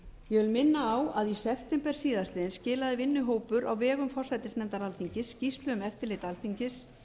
ég vil minna á að í september síðastliðinn skilaði vinnuhópur á vegum forsætisnefndar alþingis skýrslu um eftirlit alþingis